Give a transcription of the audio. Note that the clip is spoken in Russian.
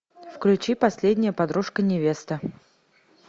включи последняя подружка невесты